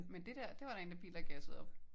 Men det der det var da en bil der gassede op?